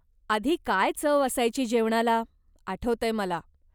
आधी काय चव असायची जेवणाला, आठवतय मला.